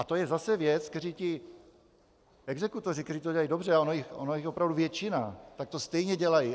A to je zase věc, kterou ti exekutoři, kteří to dělají dobře, a ona je jich opravdu většina, tak to stejně dělají.